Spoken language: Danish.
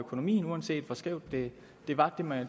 det